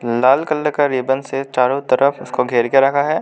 लाल colour का ribbon से चारों तरफ उसको घेर के रखा है।